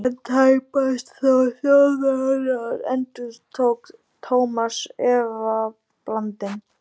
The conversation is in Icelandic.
En tæpast þó Þjóðverjar? endurtók Thomas efablandinn.